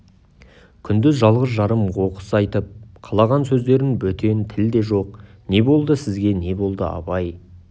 күндіз жалғыз-жарым оқыс айтып қалған сөзден бөтен тіл де жоқ не болды сізге не болды абай